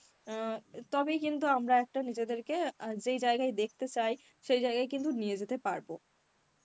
অ্যাঁ তবেই কিন্তু আমরা একটা নিজেদের কে অ্যাঁ যেই জায়গায় দেখতে চাই সেই জায়গায় কিন্তু নিয়ে যেতে পারব.